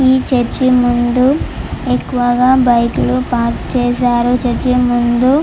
ఈ చర్చి ముందు బైకులు ఎక్కువగా పార్కు చేశారు చర్చి ముందు --